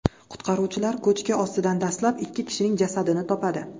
Qutqaruvchilar ko‘chki ostidan dastlab ikki kishining jasadini topadi.